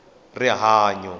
rihanyo